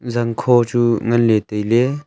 zangkho chu ngan ley tai ley.